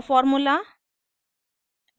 raw formula raw formula